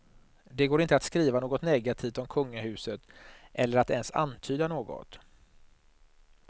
Det går inte att skriva något negativt om kungahuset, eller att ens antyda något.